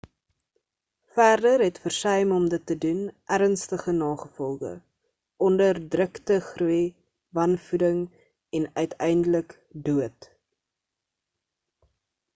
verder het versuim om dit te doen ernstige nagevolge onderdrukte groei wanvoeding en uiteindelik dood